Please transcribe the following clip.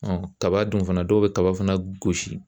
kaba dun fana dɔw bi kaba fana gosi.